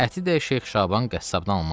Əti də Şeyx Şaban qəssabdan almazdı.